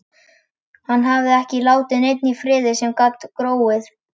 Hann hafði ekki látið neitt í friði sem gat gróið.